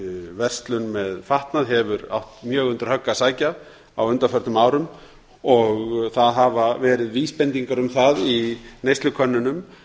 verslun með fatnað hefur átt mjög undir högg að sækja á undanförnum árum og það hafa verið vísbendingar um það í neyslukönnunum